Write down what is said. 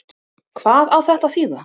Hvað á þetta að þýða?